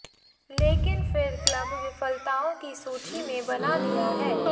लेकिन फिर क्लब विफलताओं की सूची में बना दिया है